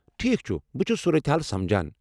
ٹھیٖک چھُ ، بہٕ چُھس صورت حال سمجان۔